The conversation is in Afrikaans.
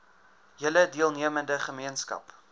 hele deelnemende gemeenskap